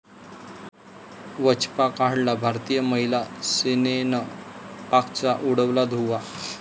वचपा काढला!, भारतीय महिला सेनेनं पाकचा उडवला धुव्वा